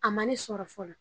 A ma ne sɔrɔ fɔlɔ.